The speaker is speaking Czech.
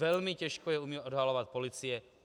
Velmi těžko je umí odhalovat policie.